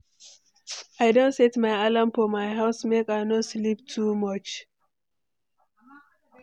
I don set my alarm for my house make I no sleep too much.